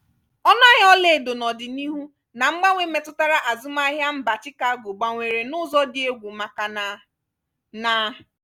ọnụ ahịa olaedo n'ọdinihu na mgbanwe metụtara azụmahịa mba chicago gbanwere n'ụzọ dị egwu maka na... na...